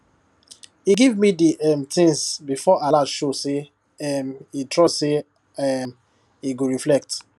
e give me the um things before alert show say um e trust say um e go reflect